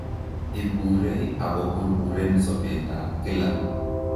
Iburee ak koburburen sobeet ab kila